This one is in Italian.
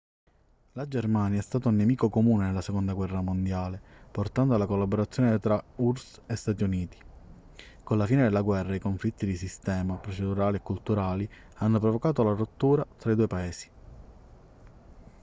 la germania è stata un nemico comune nella seconda guerra mondiale portando alla collaborazione tra urss e stati uniti con la fine della guerra i conflitti di sistema procedurali e culturali hanno provocato la rottura tra i due paesi